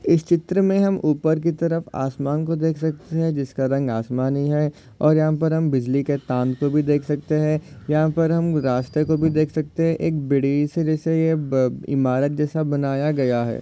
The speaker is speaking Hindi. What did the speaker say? इस चित्र मे हम ऊपर की तरफ आसमान को देख को सकते है। जिसका रंग आसमानी है और यहाँ पर हम बिजली के ताम को भी देख सकते है और पर हम रास्ते को भी देख सकते है। एक बीड़ी सिरी से यह इमारत जैसा बनाया गया है।